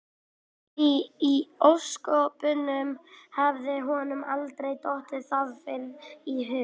Því í ósköpunum hafði honum aldrei dottið það fyrr í hug?